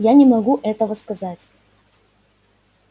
я не могу этого сказать